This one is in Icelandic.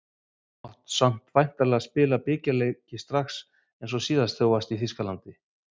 Þú mátt samt væntanlega spila bikarleiki strax eins og síðast þegar þú varst í Þýskalandi?